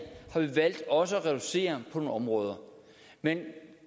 har vi valgt også at reducere på nogle områder men